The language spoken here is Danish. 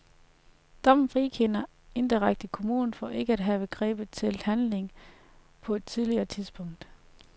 Dommen frikender indirekte kommunen for ikke at have grebet til handling på et tidligere tidspunkt.